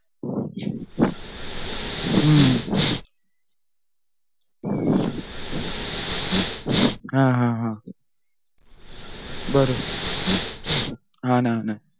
हम्म हा हा हा बरोबर हा ना हा ना